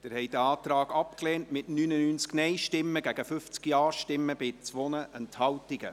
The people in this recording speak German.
Sie haben diesen Antrag abgelehnt, mit 99 Nein- gegen 50 Ja-Stimmen bei 2 Enthaltungen.